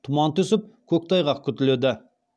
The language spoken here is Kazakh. тұман түсіп көктайғақ күтіледі